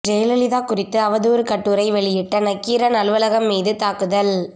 ஜெயலலிதா குறித்து அவதூறு கட்டுரை வெளியிட்ட நக்கீரன் அலுவலகம் மீது தாக்குதல்